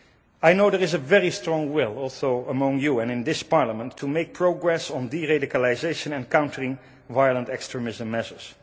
I know there is a very strong will also among you and in this Parliament to make progress on de radicalisation and countering violent extremism measures.